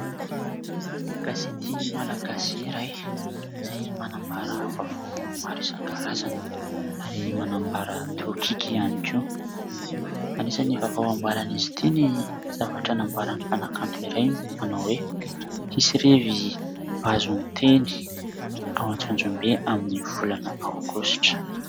Gazety malagasy iray izay manambara vaovao maro isankarazany ary manambara tokiky ihany koa : anisan'ny vaovao ambaran'izy ity ny zavatra nambaran'ny mpanakanto iray manao hoe " Hisy revy vazon'ny teny ao Antsonjombe amin'ny volana aogositra. "